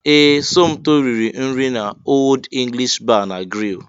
Ee! Somto riri nri n'Old English Bar na Grill.